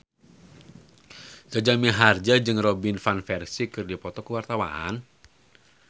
Jaja Mihardja jeung Robin Van Persie keur dipoto ku wartawan